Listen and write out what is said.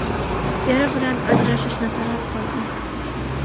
Eri bilan ajrashishni talab qildi.